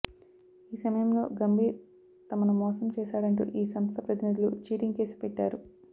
ఈ సమయంలో గంభీర్ తమను మోసం చేశాడంటూ ఈ సంస్థ ప్రతినిధులు చీటింగ్ కేసు పెట్టారు